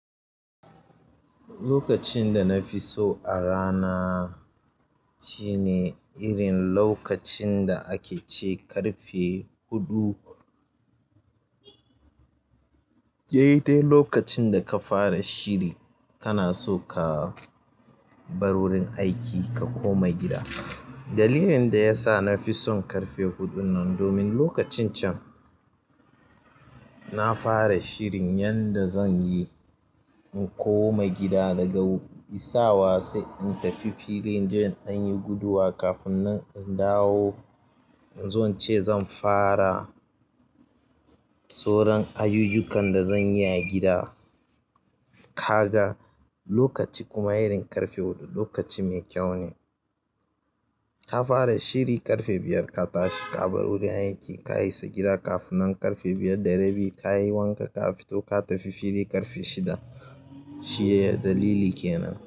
Lokacin da na fi so a rana shine irin lokacin da ake ce ƙarfe huɗu. Dai dai lokacin da ka fara shiri, kana so ka bar wurin aiki ka koma gida. Dalilin da ya sa na fi son ƙarfe huɗun nan domin lokacin can na fara shirin yanda zan yi in koma gida daga isawa sai in tafi filin don in yi guduwa. Kafin nan dawo inzo ince zan fara sauran ayyukan da zanyi a gida. Kaga lokaci kuma irin ƙarfe huɗu lokaci mai kyau ne. Ka fara shiri ƙarfe biyar, ka tashi ka bar wurin aiki, ka isa gida kafin nan ƙarfe biyar da rabi. Ka yi wanka, ka fito ka tafi fili ƙarfe shida. Shi ne dalili kenan.